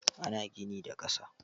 Ana gini da ƙasa.